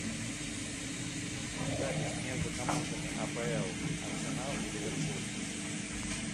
запись между командами апл арсенал и ливерпуль